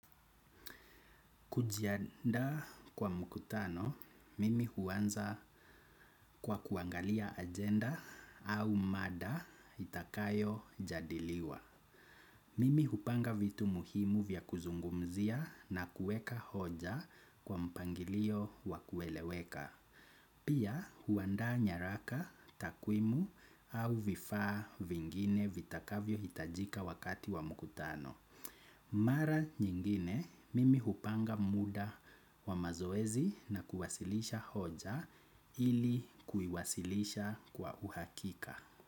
Kujiandaa kwa mkutano, mimi huanza kwa kuangalia agenda au mada itakayojadiliwa. Mimi hupanga vitu muhimu vya kuzungumzia na kueka hoja kwa mpangilio wa kueleweka. Pia huandaa nyaraka, takwimu au vifaa vingine vitakavyohitajika wakati wa mkutano. Mara nyingine mimi hupanga muda wa mazoezi na kuwasilisha hoja ili kuiwasilisha kwa uhakika.